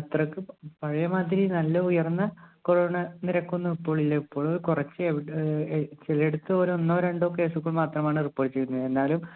അത്രക്ക് പഴയ മാതിരി നല്ല ഉയർന്ന corona നിരക്കൊന്നും ഇപ്പോഴില്ല ഇപ്പോഴ് കൊറച്ച് എവിട ഏർ ചെലയിടത്ത് ഒരു ഒന്നോ രണ്ടോ case മാത്രമാണ് report ചെയ്തതിന് എന്നാലും